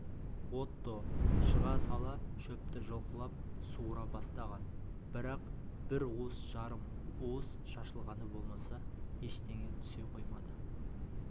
отто шыға сала шөпті жұлқылап суыра бастаған бірақ бір уыс жарым уыс шашылғаны болмаса ештеңе түсе қоймады